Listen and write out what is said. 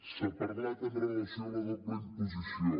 s’ha parlat amb relació a la doble imposició